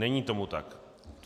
Není tomu tak.